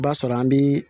I b'a sɔrɔ an bi